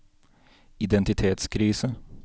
identitetskrise